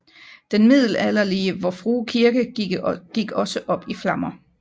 Den middelalderlige Vor Frue Kirke gik også op i flammer